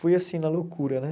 Fui assim na loucura, né?